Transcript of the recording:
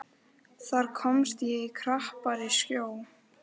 Þar komst ég í krappari sjó.